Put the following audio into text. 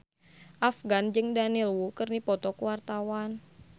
Afgan jeung Daniel Wu keur dipoto ku wartawan